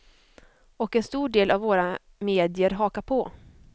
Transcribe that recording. Och en stor del av våra medier hakar på.